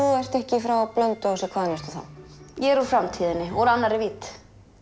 þú ert ekki frá Blönduósi hvaðan ertu þá ég er úr framtíðinni úr annarri vídd